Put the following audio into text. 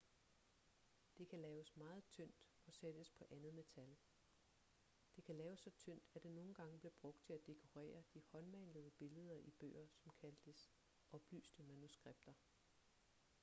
det kan laves meget tyndt og sættes på andet metal det kan laves så tyndt at det nogen gange blev brugt til at dekorere de håndmalede billeder i bøger som kaldtes oplyste manuskripter